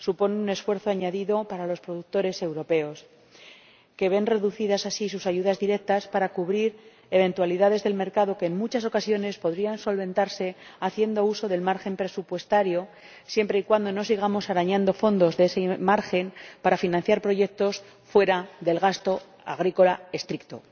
supone un esfuerzo añadido para los productores europeos, que ven reducidas así sus ayudas directas para cubrir eventualidades del mercado que, en muchas ocasiones, podrían solventarse haciendo uso del margen presupuestario siempre y cuando no sigamos arañando fondos de ese margen para financiar proyectos fuera del gasto agrícola estricto.